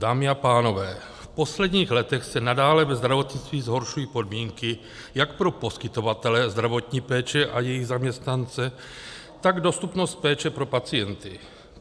Dámy a pánové, v posledních letech se nadále ve zdravotnictví zhoršují podmínky jak pro poskytovatele zdravotní péče a jejich zaměstnance, tak dostupnost péče pro pacienty.